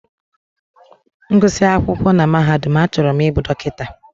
M gụsị akwụkwọ na mahadum, achọrọ m ịbụ dọkịta.